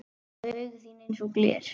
Og augu þín einsog gler.